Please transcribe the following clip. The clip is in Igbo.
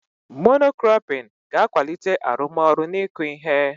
Mono kropịn ga-akwalite arụmọrụ n'ịkụ ihe.